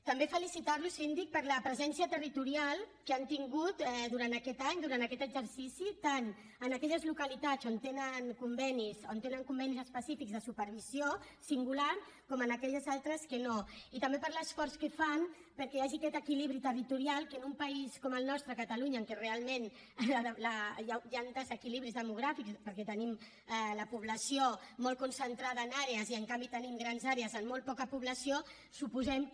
també felicitarlo síndic per la presència territorial que han tingut durant aquest any durant aquest exercici tant en aquelles localitats on tenen convenis específics de supervisió singular com en aquelles altres que no i també per l’esforç que fan perquè hi hagi aquest equilibri territorial que en un país com el nostre catalunya en què realment hi han desequilibris demogràfics perquè tenim la població molt concentrada en àrees i en canvi tenim grans àrees amb molt poca població suposem que